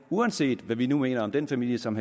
uanset hvad vi nu mener om den familie som